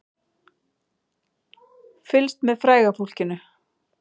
Fylgst með fræga fólkinu